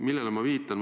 Millele ma viitan?